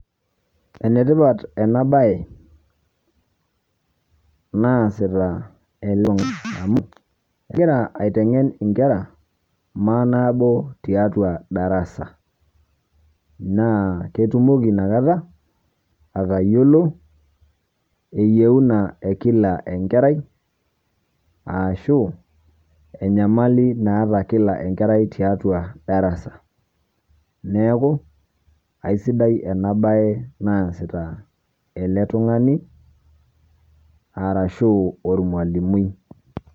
Enetipat ena bae naasita ele tungani amu ekira aiteng'en inkera maanaabo tiatua darasa naa ketumoki inakata atayiolo, eyiuna e kila enkerai ashu enyamali naata kila enkerai tiatua darasa neeku aisidai ena bae naasita ele tung'ani, arashu ormalimui.